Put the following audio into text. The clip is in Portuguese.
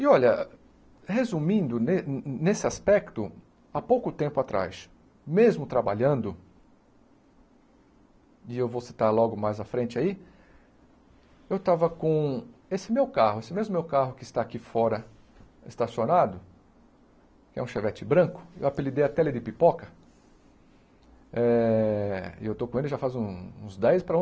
E olha, resumindo ne nesse aspecto, a pouco tempo atrás, mesmo trabalhando, e eu vou citar logo mais à frente aí, eu estava com esse meu carro, esse mesmo meu carro que está aqui fora, estacionado, que é um Chevette branco, eu apelidei até ele de Pipoca, eh e eu estou com ele já faz uns dez para